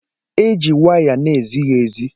Eji waya na-ezighi ezi